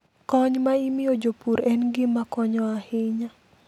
Kony ma imiyo jopur en gima konyo ahinya.